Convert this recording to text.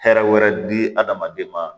Hɛrɛ wɛrɛ di adamaden ma